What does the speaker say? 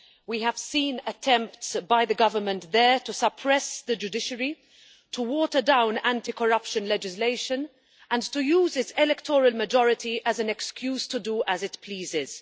We have seen attempts by the Government there to suppress the judiciary, to water down anticorruption legislation and to use its electoral majority as an excuse to do as it pleases.